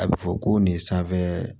A bɛ fɔ ko nin sanfɛ